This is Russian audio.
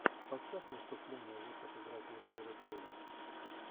поставь выступления вот как играть лучшие реплеи